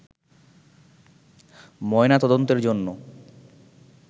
ময়নাতদন্তের জন্য